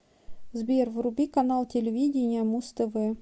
сбер вруби канал телевидения муз тв